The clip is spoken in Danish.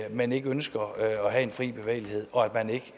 man ikke ønsker at have en fri bevægelighed og at man ikke